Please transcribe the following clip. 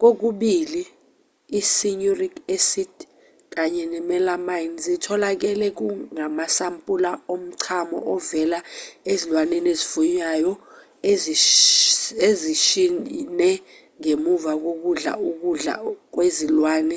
kokubili i-cynuric acid kanye ne-melamine zitholakele kumasampula omchamo ovela ezilwaneni ezifuywayo ezishne ngemva kokudla ukudla kwezilwane